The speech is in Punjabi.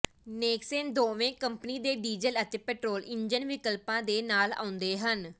ਨੇਕਸਨ ਦੋਵੇਂ ਕੰਪਨੀ ਦੇ ਡੀਜ਼ਲ ਅਤੇ ਪੈਟਰੋਲ ਇੰਜਨ ਵਿਕਲਪਾਂ ਦੇ ਨਾਲ ਆਉਂਦੇ ਹਨ